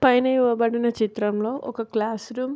పైన ఇవ్వబడిన చిత్రం లో ఒక క్లాస్రూమ్ --